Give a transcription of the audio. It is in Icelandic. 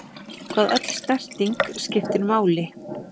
Hvað öll snerting skiptir máli.